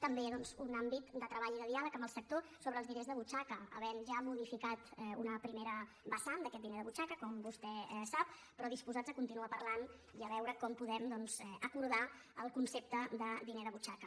també doncs un àmbit de treball i de diàleg amb el sector sobre els diners de butxaca havent ja modificat una primera vessant d’aquest diner de butxaca com vostè sap però disposats a continuar parlant i a veure com podem doncs acordar el concepte de diner de butxaca